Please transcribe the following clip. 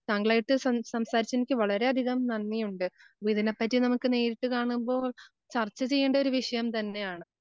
താങ്കളെ ആയിട്ട് സം, സംസാരിച്ചതിന് നിക്ക് വളരെയധികം നന്ദിയുണ്ട്. പ്പം ഇതിനെപ്പറ്റി നേരിട്ട് കാണുമ്പോ ചർച്ച ചെയ്യണ്ട ഒരു വിഷയം തന്നെയാണ്.